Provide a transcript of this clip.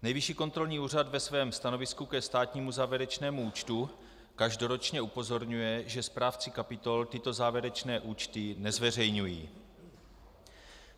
Nejvyšší kontrolní úřad ve svém stanovisku ke státnímu závěrečnému účtu každoročně upozorňuje, že správci kapitol tyto závěrečné účty nezveřejňují.